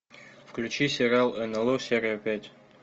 включи сериал нло серия пять